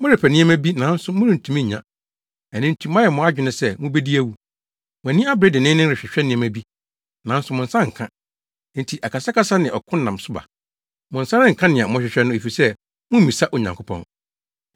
Morepɛ nneɛma bi nanso morentumi nnya, ɛno nti moayɛ mo adwene sɛ mubedi awu. Mo ani abere denneennen rehwehwɛ nneɛma bi, nanso mo nsa nka, enti akasakasa ne ɔko nam so ba. Mo nsa renka nea morehwehwɛ no efisɛ mummisa Onyankopɔn.